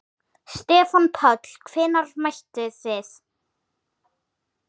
Stefán Páll: Hvenær mættuð þið?